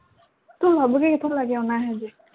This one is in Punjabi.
ਤੂੰ ਲੱਭ ਕੇ ਕਿਥੋਂ ਲੈ ਕੇ ਆਉਣਾ ਐਹੋ ਜਿਹੇ